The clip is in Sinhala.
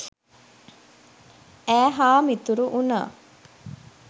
ඈ හා මිතුරු වුණා.